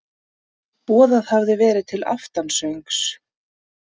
Boðað hafði verið til aftansöngs.